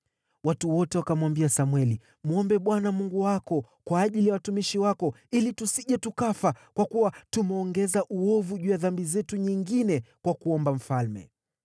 Watu wote wakamwambia Samweli, “Mwombe Bwana Mungu wako kwa ajili ya watumishi wako, ili tusije tukafa, kwa kuwa tumeongeza uovu juu ya dhambi zetu nyingine kwa kuomba mfalme.”